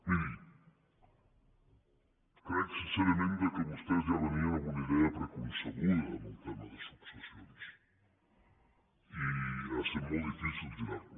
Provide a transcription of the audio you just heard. miri crec sincerament que vostès ja venien amb una idea preconcebuda del tema de successions i ha set molt difícil girar los